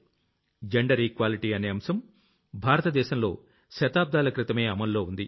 gender equality అనే ఈ అంశం భారత దేశంలో శతాబ్దాల క్రితమే అమల్లో ఉంది